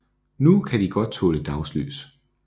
Nu kan de godt tåle dagslys